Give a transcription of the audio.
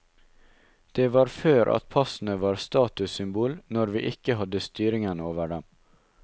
Det var før at passene var statussymbol, når vi ikke hadde styringen over dem.